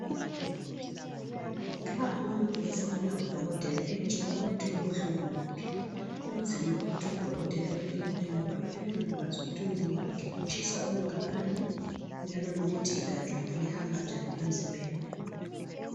Nxa umuntu efonela udokotela emtshela ukuthi kubuhlungu ngaphi kunzima ukuthi udokotela emelaphe ngoba uyabe engakwazi ukuthi umzimba wakhe utshisa okunganani njalo lokuthi igazi lakhe lihamba njani emzimbeni.